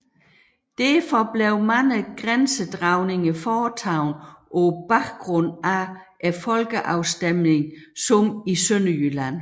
Derfor blev mange grænsedragninger foretaget på baggrund af folkeafstemninger som i Sønderjylland